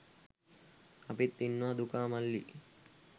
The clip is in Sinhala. අපිත් ඉන්නවා දුකා මල්ලි